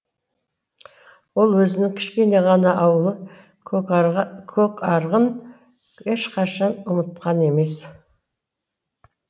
ол өзінің кішкене ғана ауылы көкарығын ешқашан ұмытқан емес